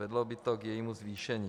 Vedlo by to k jejímu zvýšení.